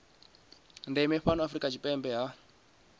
ndeme fhano afrika tshipembe hu